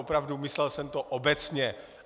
Opravdu - myslel jsem to obecně.